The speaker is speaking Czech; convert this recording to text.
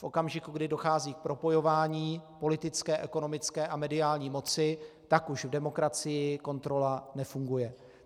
V okamžiku, kdy dochází k propojování politické, ekonomické a mediální moci, tak už v demokracii kontrola nefunguje.